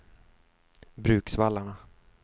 Bruksvallarna